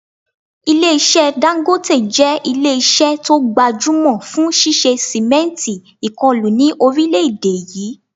Ilé-iṣẹ́ Dangote jẹ́ ilé-iṣẹ́ tó gbajúmọ̀ fún ṣíṣe sìmẹ́ǹtì ìkọlù ni orile èdè yìí